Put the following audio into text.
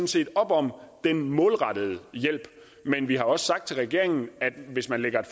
set op om den målrettede hjælp men vi har også sagt til regeringen at hvis den lægger